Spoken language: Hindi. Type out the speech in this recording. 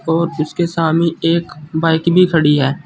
और इसके सामने एक बाइक भी खड़ी है।